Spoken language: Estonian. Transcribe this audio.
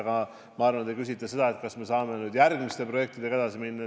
Aga ma arvan, et te tahate teada, kas me saame nüüd järgmiste projektidega edasi minna.